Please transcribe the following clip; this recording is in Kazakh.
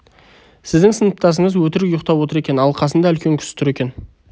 сіздің сыныптасыңыз өтірік ұйықтап отыр екен ал қасында үлкен кісі тұр екен